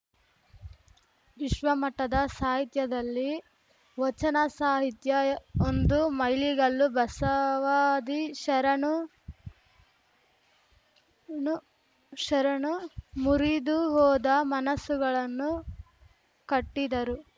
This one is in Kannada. ವಿಶ್ವಮಟ್ಟದ ಸಾಹಿತ್ಯದಲ್ಲಿ ವಚನ ಸಾಹಿತ್ಯ ಒಂದು ಮೈಲಿಗಲ್ಲು ಬಸವಾದಿ ಶರಣು ಣು ಶರಣು ಮುರಿದುಹೋದ ಮನಸ್ಸುಗಳನ್ನು ಕಟ್ಟಿದರು